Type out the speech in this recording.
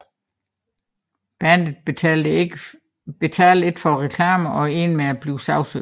Bandet betalte ikke for reklamen og endte med at blive sagsøgt